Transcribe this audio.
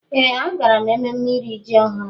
Ee agara m ememme iri ji ọhụrụ.